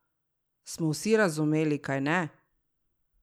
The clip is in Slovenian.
Smo vsi razumeli, kajne?